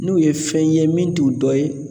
N'u ye fɛn ye min t'u dɔ ye